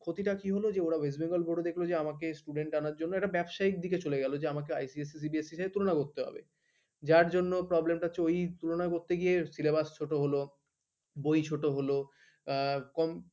ক্ষতিটা কি হলো যে ওরা west benagl board দেখল যে আমাকে student আনার জন্য একটা ব্যবসায়ীদের দিকে চলে গেল যে আমাকে ICSCCBSC তুলনা করতে হবে যার জন্য program হচ্ছে ওই ওই করতে গিয়ে syllabus ছোট হলো বই ছোট হলো এক কম